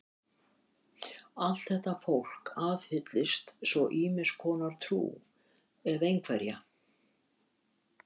Allt þetta fólk aðhyllist svo ýmiss konar trú, ef einhverja.